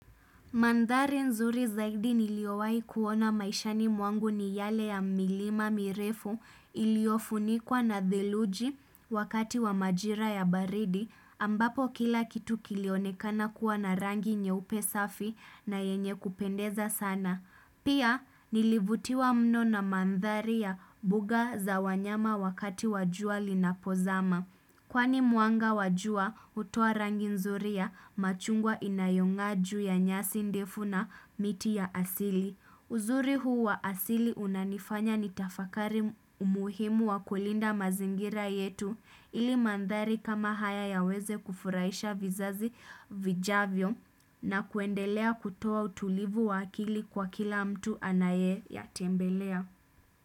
Mandhari nzuri zaidi niliyowaikuona maishani mwangu ni yale ya milima mirefu iliyofunikwa na theluji wakati wa majira ya baridi ambapo kila kitu kilionekana kuwa na rangi nyeupe safi na yenye kupendeza sana. Pia nilivutiwa mno na mandhari ya buga za wanyama wakati wa jua linapozama. Kwani mwanga wa jua hutoa rangi nzuri ya machungwa inayongaa juu ya nyasi ndefu na miti ya asili. Uzuri huu wa asili unanifanya nitafakari umuhimu wa kulinda mazingira yetu ili mandhari kama haya yaweze kufurahisha vizazi vijavyo na kuendelea kutoa utulivu wa akili kwa kila mtu anayeyatembelea.